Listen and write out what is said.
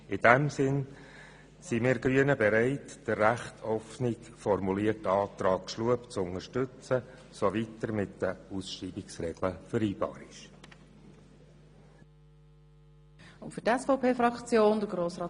In diesem Sinn sind wir Grünen bereit, den relativ offen formulierten Antrag Schlup zu unterstützen, soweit er mit den Regeln der Ausschreibung vereinbar ist.